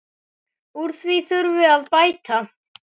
Úr því þurfi að bæta.